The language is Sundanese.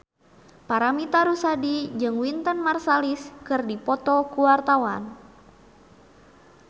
Paramitha Rusady jeung Wynton Marsalis keur dipoto ku wartawan